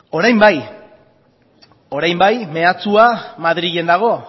orain bai orain bai mehatxua madrilen dago